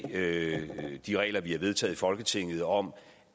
de regler vi har vedtaget i folketinget om